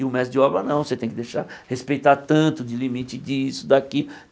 E o mestre de obra, não, você tem que deixar respeitar tanto de limite disso, daqui.